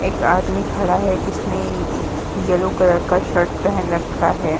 एक आदमी खड़ा है जिसने येलो कलर का शर्ट पहन रखा है।